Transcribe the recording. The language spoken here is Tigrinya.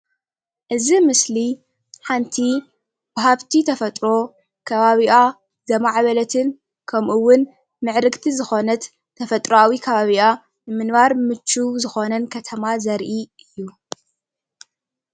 እዚ ምስሊ ሓንቲ ብሃፍቲ ተፈጥሮ ከባቢኣ ዘማዕበለትን ከምኡዉን ምዕርግቲ ዝኾነት ተፈጥራዊ ከባቢኣ ንምንባር ምቹው ዝኾነን ከተማ ዘርኢ እዩ።